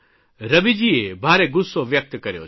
રવિજીએ ભારે ગુસ્સો વ્યકત કર્યો છે